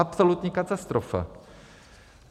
Absolutní katastrofa.